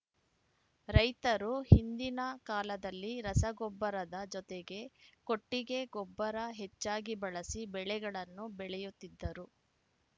ರೈತರು ಹಿಂದಿನ ಕಾಲದಲ್ಲಿ ರಸಗೊಬ್ಬರದ ಜೊತೆಗೆ ಕೊಟ್ಟಿಗೆ ಗೊಬ್ಬರ ಹೆಚ್ಚಾಗಿ ಬಳಸಿ ಬೆಳೆಗಳನ್ನು ಬೆಳೆಯುತ್ತಿದ್ದರು